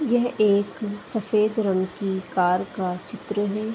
यह एक सफेद रंग की कार का चित्र है।